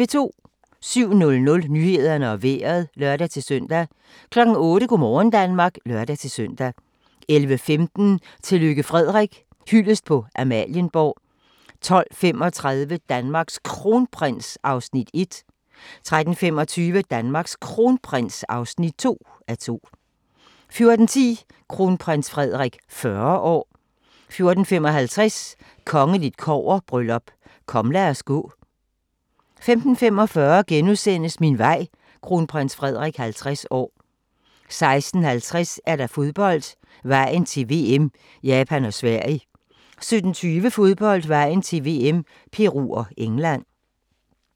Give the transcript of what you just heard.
07:00: Nyhederne og Vejret (lør-søn) 08:00: Go' morgen Danmark (lør-søn) 11:15: Tillykke Frederik - hyldest på Amalienborg 12:35: Danmarks Kronprins (1:2) 13:25: Danmarks Kronprins (2:2) 14:10: Kronprins Frederik 40 år 14:55: Kongeligt kobberbryllup: Kom lad os gå ... 15:45: Min vej - kronprins Frederik 50 år * 16:50: Fodbold: Vejen til VM - Japan og Sverige 17:20: Fodbold: Vejen til VM - Peru og England